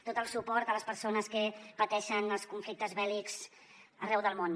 tot el suport a les persones que pateixen els conflictes bèl·lics arreu del món